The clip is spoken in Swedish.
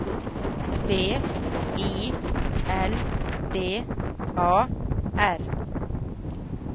B I L D A R